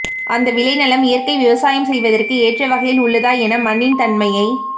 அந்த விளைநிலம் இயற்கை விவசாயம் செய்வதற்கு ஏற்ற வகையில் உள்ளதா என மண்ணின் தன்மையை